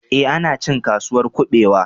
Ee, ana cin Kasuwar kuɓewa